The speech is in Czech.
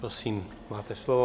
Prosím, máte slovo.